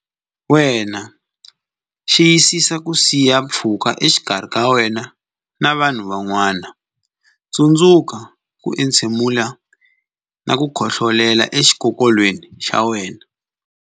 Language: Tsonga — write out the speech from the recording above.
Wena Xiyisisa ku siya pfhuka exikarhi ka wena na vanhu van'wana Tsundzuka ku entshemula na ku khohlolela exikokolweni xa wena.